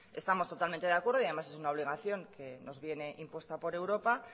estamos totalmente de acuerdo y además es una obligación que nos viene impuesta por europa